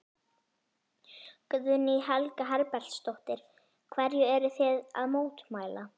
Guðný Helga Herbertsdóttir: Hverju eruð þið að mótmæla?